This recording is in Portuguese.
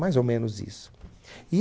Mais ou menos isso.